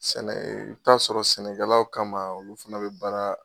Sɛnɛ i taa'a sɔrɔ sɛnɛkɛlaw kama olu fana be baara